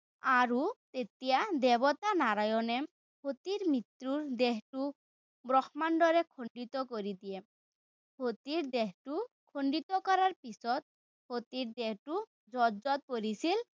আৰু তেতিয়া দেৱতা নাৰায়ণে সতীৰ মৃত্যুৰ দেহটো ব্ৰক্ষ্মাণ্ডৰে খণ্ডিত কৰি দিয়ে। সতীৰ দেহটো খণ্ডিত কৰাৰ পিছত সতীৰ দেহটো য'ত য'ত পৰিছিল